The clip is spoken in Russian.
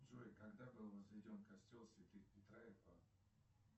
джой когда был возведен костел святых петра и павла